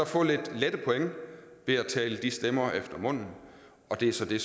få lidt lette point ved at tale de stemmer efter munden og det er så det